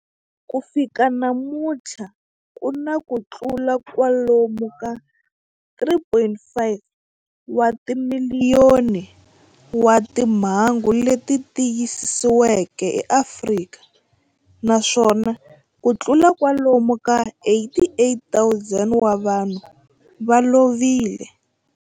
Ku fika namuntlha ku na kutlula kwalomu ka 3.5 wa timiliyoni wa timhangu leti tiyisisiweke eAfrika, naswona kutlula kwalomu ka 88,000 wa vanhu va lovile.